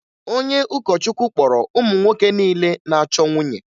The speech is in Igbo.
Onye ụkọchukwu kpọrọ ụmụ nwoke niile na-achọ nwunye